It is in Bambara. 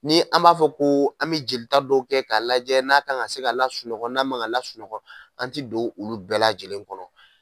Ni an b'a fɔ ko an bɛ jelita kɛ dɔ kɛ k'a lajɛ n'a kan ka se ka lasunɔgɔ n'a man kan ka lasunɔgɔ an tɛ don olu bɛɛ lajɛlen kɔnɔ.